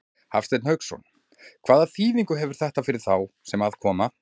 Hafsteinn Hauksson: Hvaða þýðingu hefur þetta fyrir þá sem að koma?